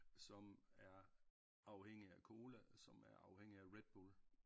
Som er afhængige af cola som er afhængige af Redbull